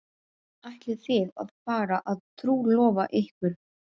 Ætlið þið að fara að trúlofa ykkur?